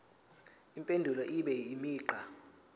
impendulo ibe imigqa